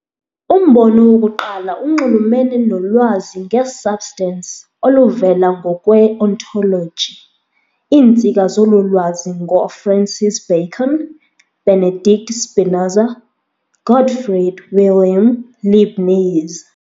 Umbono wokuqala unxulumene nolwazi nge-substance oluvela ngokwe-ontoloji, iintsika zolu lwazi ngoo-, Francis Bacon, Benedict Spinoza, Gottfried Wilhelm Leibniz.